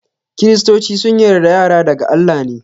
kiristoci sun yarda yara daga Allah ne.